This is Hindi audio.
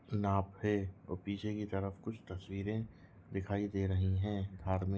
ना पे और पीछे की तरफ कुछ तस्वीरे दिखाई दे रही है। भाड़मे--